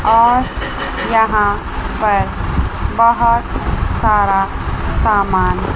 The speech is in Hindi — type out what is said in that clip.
और यहां पर बहोत सारा सामान।